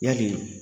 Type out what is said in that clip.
Yali